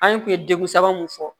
An kun ye degun saba mun fɔ